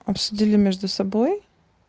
обсудили между собой